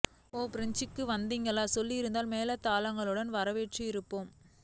ஒ பிரான்சுக்கும் வந்திங்களா சொல்லி இருந்தால் மேளதாளங்களுடன் வரவேற்று இருப்போமே